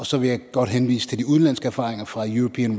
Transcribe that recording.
så vil jeg godt henvise til de udenlandske erfaringer fra european